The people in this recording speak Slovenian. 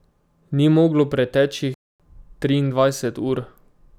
Ni moglo preteči triindvajset ur.